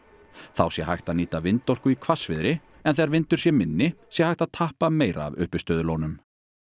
þá sé hægt að nýta vindorku í hvassviðri en þegar vindur sé minni sé hægt að tappa meira af uppistöðulónum